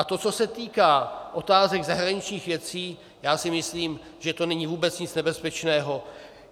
A to, co se týká otázek zahraničních věcí, já si myslím, že to není vůbec nic nebezpečného.